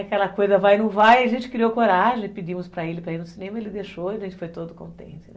Aquela coisa vai ou não vai, a gente criou coragem, pedimos para ele para ir no cinema, ele deixou e a gente foi todo contente, né?